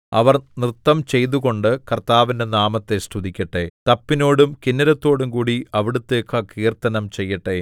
അവർ നൃത്തം ചെയ്തുകൊണ്ട് കർത്താവിന്റെ നാമത്തെ സ്തുതിക്കട്ടെ തപ്പിനോടും കിന്നരത്തോടുംകൂടി അവിടുത്തേക്ക് കീർത്തനം ചെയ്യട്ടെ